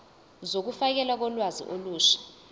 zokufakelwa kolwazi olusha